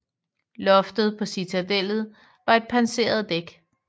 Loftet på citadellet var et pansret dæk